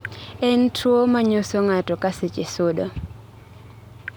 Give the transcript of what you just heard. en tuwo manyoso ng'ato ka seche sudo